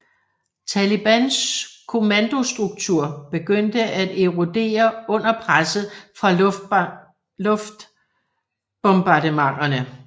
Talibans kommandostruktur begyndte at erodere under presset fra luftbombardementerne